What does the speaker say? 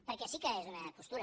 perquè sí que és una postura